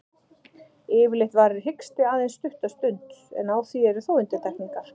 Yfirleitt varir hiksti aðeins stutta stund, en á því eru þó undantekningar.